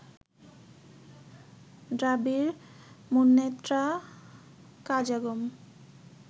Dravida Munnetra Kazhagam